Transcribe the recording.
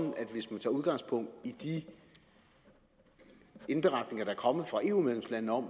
hvis man tager udgangspunkt i de indberetninger der er kommet fra eu medlemslandene om